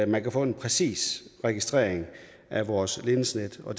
man kan få en præcis registrering af vores ledningsnet og